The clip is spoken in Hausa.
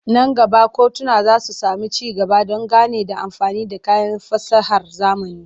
Nan gaba kotuna za su sami ci gaba don gane da amfani da kayan fasahar zamani.